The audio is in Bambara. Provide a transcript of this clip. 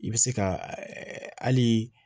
I bɛ se ka hali